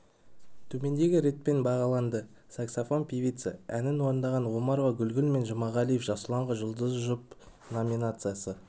төмендегі ретпен бағаланды саксафон певица әнін орындаған омарова гүлгүл мен жұмағалиев жасұланға жұлдызды жұп номинациясы